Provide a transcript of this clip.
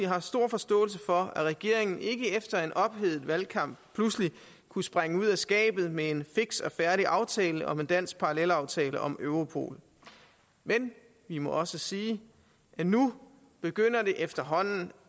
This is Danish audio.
haft stor forståelse for at regeringen ikke efter en ophedet valgkamp pludselig kunne springe ud af skabet med en fiks og færdig aftale om en dansk parallelaftale om europol men vi må også sige at nu begynder det efterhånden